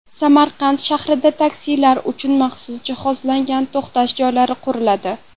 Samarqand shahrida taksilar uchun maxsus jihozlangan to‘xtash joylari quriladi.